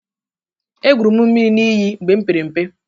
Egwuru m mmiri n'iyi mgbe m pere mpe.